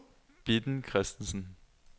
Bitten Christensen